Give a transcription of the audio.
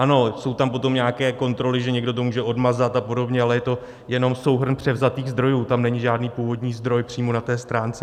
Ano, jsou tam potom nějaké kontroly, že někdo to může odmazat a podobně, ale je to jenom souhrn převzatých zdrojů, tam není žádný původní zdroj přímo na té stránce.